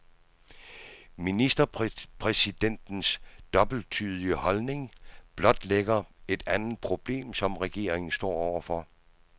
Ministerpræsidentens dobbelttydige holdning blotlægger et andet problem, som regeringen står over for.